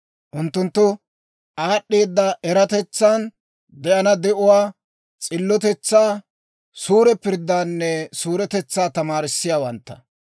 Unttunttu aad'd'eeda eratetsan, de'ana de'uwaa, s'illotetsaa, suure pirddaanne suuretetsaa tamaarissiyaawantta,